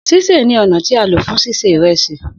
Sise ni ọna ti a lo fun sise iresi.